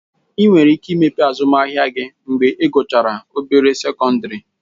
ị nwere ike imepe azụmahịa gị mgbe I guchara obere sekọndịrị